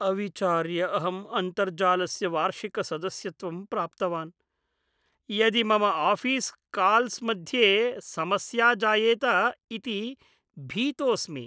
अविचार्य अहं अन्तर्जालस्य वार्षिकसदस्यत्वं प्राप्तवान्, यदि मम आफ़ीस्-काल्स् मध्ये समस्या जायेत इति भीतोऽस्मि।